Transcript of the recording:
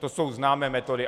To jsou známé metody.